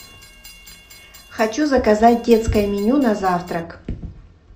хочу заказать детское меню на завтрак